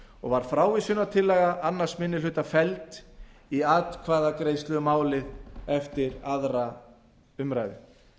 og var frávísunartillaga annar minni hluta felld í atkvæðagreiðslu um málið eftir aðra umræðu